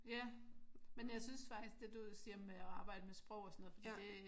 Ja men jeg synes faktisk det du siger med at arbejde med sprog og sådan noget fordi det